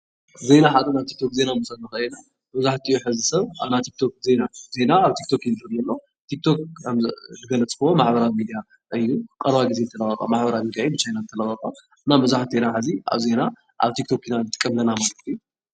ዜና ሓደ ናይ ቲክ-ቶክ ዜና መብዛሕቲኡ ሕዚ ሰብ ኣብ ናይ ቲክ-ቶክ ዜና፡፡ ዜና ኣብ ቲክ-ቶክ እዩ ዝርኢ ዘሎ፡፡ ቲክ-ቶክ ከምዝገለፅክዎ ማሕበራዊ ሚድያ እዩ፡፡ ቀረባ ጊዜ ዝተለቐቐ ማሕበራዊ ሚድያ እዩ፡፡ ብቻይና ዝተለቐቐ፡፡ እና መብዛሕቴና ሕዚ ኣብ ዜና ኣብ ብቲክ ቶክ ኢና ንጥቀም ዘለና ማለት እዩ፡፡